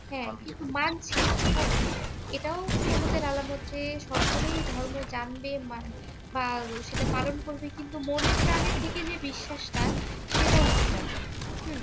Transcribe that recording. হ্যাঁ, কিন্তু মানছে না। হ্যাঁ? এটাও কেয়ামতের আলামত যে সকলেই ধর্ম জানবে বা সেটা পালন করবে কিন্তু মনেপ্রাণে থেকে যে বিশ্বাসটা সেটা উঠে যাবে। হম